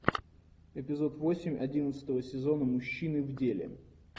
эпизод восемь одиннадцатого сезона мужчины в деле